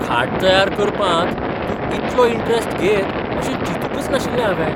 खाट तयार करपांत तूं इतलो इंटरेस्ट घेयत अशें चिंतूकच नाशिल्लें हावें.